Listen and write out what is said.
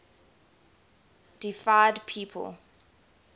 deified people